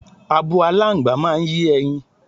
Abo aláǹgbá máa ń yé e̩yin.